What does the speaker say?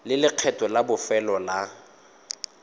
le lekgetho la bofelo la